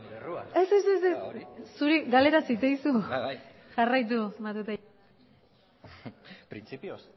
nire errua ez ez jarraitu matute jauna